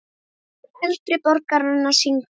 Kór eldri borgara syngur.